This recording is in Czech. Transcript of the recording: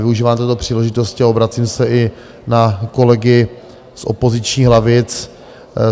Využívám této příležitosti a obracím se i na kolegy z opozičních lavic.